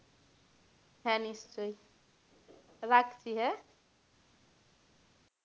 হ্যাঁ নিশ্চয়ই রাখছি হ্যাঁ?